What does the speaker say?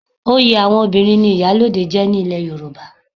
Oyè àwọn obìnrin ni Ìyálóde jẹ́ ní ilẹ̀ Yorùbá.